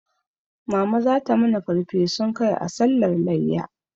Mama zata mana farfesun kai a sallar layya